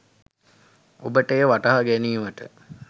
ඔබට එය වටහා ගැනීමට